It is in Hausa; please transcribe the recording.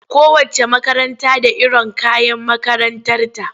Kowacce makaranta da iron kayan makarantarta.